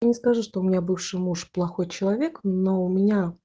я не скажу что у меня бывший муж плохой человек но у меня